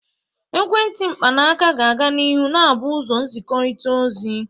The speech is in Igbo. Ekwentị mkpanaaka ga-aga n'ihu na-abụ ụzọ nzikọrịta ozi.